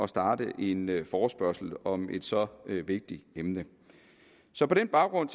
starte en forespørgsel om et så vigtigt emne så på den baggrund